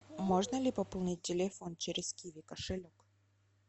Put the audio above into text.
можно ли пополнить телефон через киви кошелек